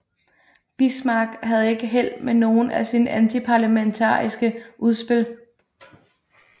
Bismarck havde ikke held med nogen af sine antiparlamentariske udspil